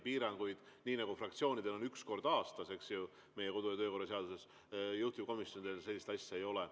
Piirangut, nagu fraktsioonidel on, et üks kord aastas meie kodu- ja töökorra seaduse järgi, juhtivkomisjonil ei ole.